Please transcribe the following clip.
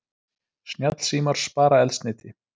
Snjallsímar spara eldsneyti